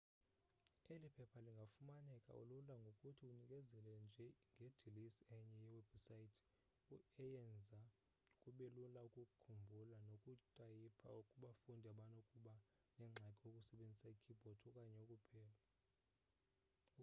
eli phepha lingafumaneka lula ngokuthi unikezele nje ngedilesi enye yewebhusaythi eyenza kubelula ukukhumbula nokutayipha kubafundi abanokuba nengxaki ukusebenziseni ikeybhodi okanye ukupela